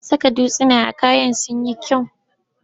An saka dutsuna a kayan sun yi kyau.